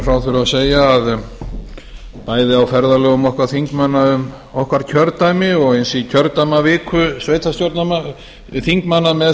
frá þurfi að segja að bæði á ferðalögum okkar þingmanna um okkar kjördæmi og eins í kjördæmaviku þingmanna með